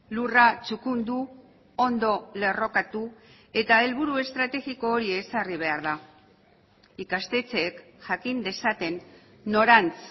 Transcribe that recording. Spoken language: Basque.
lurra txukundu ondo lerrokatu eta helburu estrategiko hori ezarri behar da ikastetxeek jakin dezaten norantz